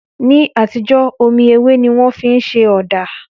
Ní àtijọ́, omi ewé ni wọ́n fi ń ṣe ọ̀dà